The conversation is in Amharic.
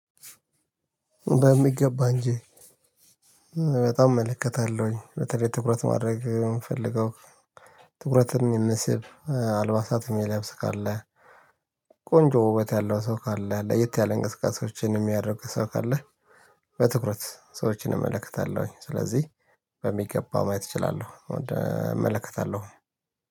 በሚገባ እንጂ። በጣም እመለከታለሁኝ በተለይ ትኩረት ማድረግ የምፈልገው። ትኩረትን የምስብ አልባሳትን የሚለብስ ካለ። ቆንጆ ውበት ያለው ሰው ካለ አለ የት ያለ እንቅስቃሴዎችን የሚያደርግ ሰው ካለ። በትኩረት ሰዎችን እመለከታለሁ ስለዚህ በሚገባው ማየት እችላለሁ እመለከታለሁ።